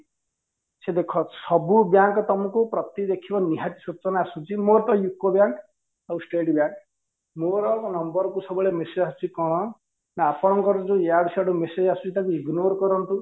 ସେ ଦେଖ ସବୁ bank ତମକୁ ପ୍ରତି ଦେଖିବ ନିହାତି ସୂଚନା ଆସୁଛି ମୋର ତ UCO bank ଆଉ state bank ମୋର number କୁ ସବୁବେଳେ message ଆସୁଚି କଣ ନା ଆପଣଙ୍କର ଯୋଉ ୟାଡୁ ସିଆଡ଼ୁ message ଆସୁଚି ତାକୁ ignore କରନ୍ତୁ